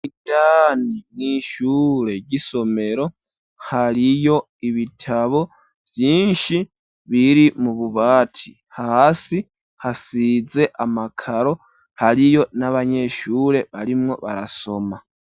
Indani mw'ishure ry'isomero hariyo ibitabo vyinshi biri mu bubati hasi hasize amakaro hariyo n'abanyeshure barimwo barasoma.